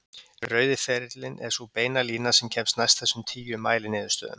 Rauði ferillinn er sú beina lína sem kemst næst þessum tíu mæliniðurstöðum.